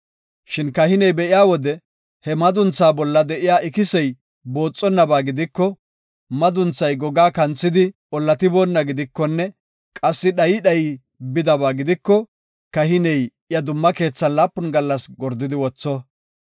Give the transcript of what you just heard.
Shin kahiney be7iya wode he madunthaa bolla de7iya ikisey booxonnaba gidiko, madunthay gogaa kanthidi ollatiboonaba gidikonne qassi dhayi dhayi bidaba gidiko, kahiney iya dumma keethan laapun gallas gordidi wotho.